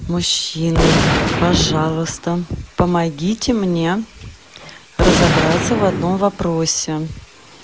мужчины пожалуйста помогите мне разобраться в одном вопросе